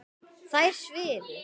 Þær svifu.